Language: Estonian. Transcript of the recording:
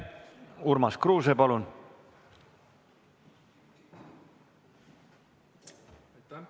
Urmas Kruuse, palun!